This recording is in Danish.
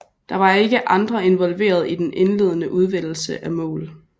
Der var ikke andre involveret i den indledende udvælgelse af mål